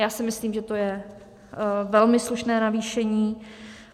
Já si myslím, že to je velmi slušné navýšení.